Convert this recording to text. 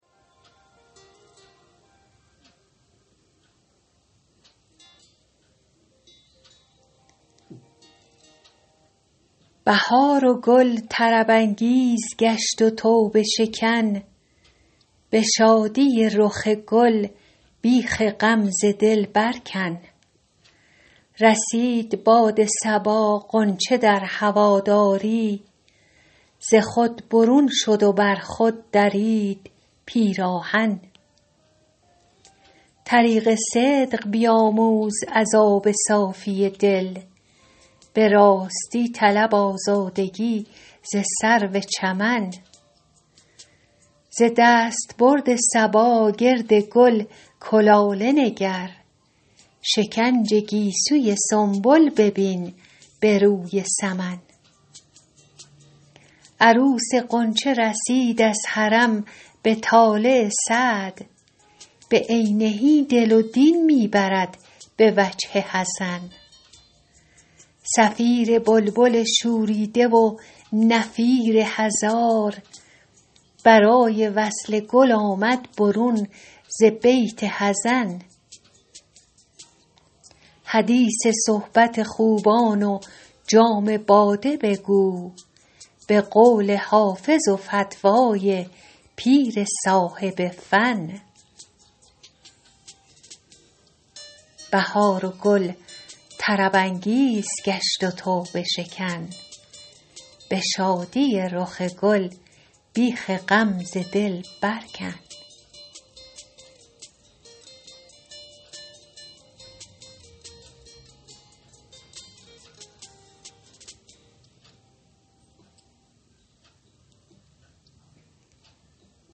بهار و گل طرب انگیز گشت و توبه شکن به شادی رخ گل بیخ غم ز دل بر کن رسید باد صبا غنچه در هواداری ز خود برون شد و بر خود درید پیراهن طریق صدق بیاموز از آب صافی دل به راستی طلب آزادگی ز سرو چمن ز دستبرد صبا گرد گل کلاله نگر شکنج گیسوی سنبل ببین به روی سمن عروس غنچه رسید از حرم به طالع سعد بعینه دل و دین می برد به وجه حسن صفیر بلبل شوریده و نفیر هزار برای وصل گل آمد برون ز بیت حزن حدیث صحبت خوبان و جام باده بگو به قول حافظ و فتوی پیر صاحب فن